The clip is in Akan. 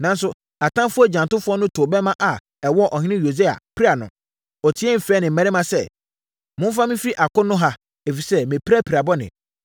Nanso, atamfoɔ agyantofoɔ no too bɛmma ma ɛwɔɔ ɔhene Yosia, piraa no. Ɔteaam frɛɛ ne mmarima sɛ, “Momfa me mfiri akono ha, ɛfiri sɛ, mapira pira bɔne.”